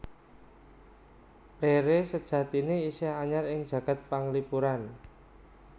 Rere sajatiné isih anyar ing jagad panglipuran